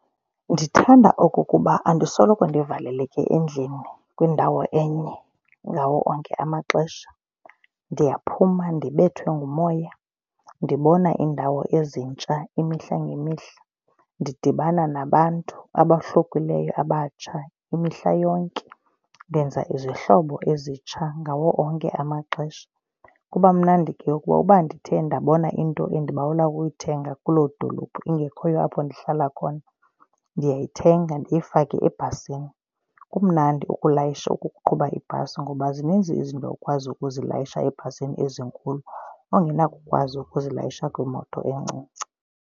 Ndithanda okokuba andisoloko ndivaleleke endlini kwindawo enye ngawo onke amaxesha. Ndiyaphuma, ndibethwe ngumoya, ndibona iindawo ezintsha imihla ngemihla. Ndidibana nabantu abahlukileyo, abatsha imihla yonke. Ndenza izihlobo ezitsha ngawo onke amaxesha. Kuba mnandi ke kuba uba ndithe ndabona into endibawela ukuyithenga kuloo dolophu engekhoyo apho ndihlala khona ndiyoyithenga ndiyifake ebhasini. Kumnandi ukulayisha, ukuqhuba ibhasi ngoba zininzi izinto okwazi ukuzilayisha ebhasini ezinkulu ongenakukwazi ukuzilayisha kwimoto encinci.